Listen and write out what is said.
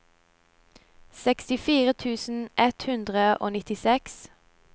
sekstifire tusen ett hundre og nittiseks